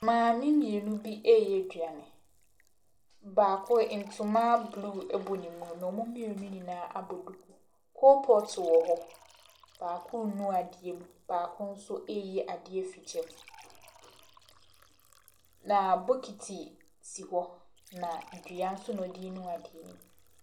Mmaame mmienu bi reyɛ aduane. Baako, ntoma blue bɔ ne mu, na wɔn mmienu nyinaa abɔ duku. Coal pot wɔ hɔ. Baako renu adeɛ mu, baako nso reyi adeɛ afi gya mu, na bokiti so hɔ, na dua nso na ɔde renu adeɛ no mu.